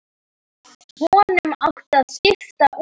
Honum á að skipta út.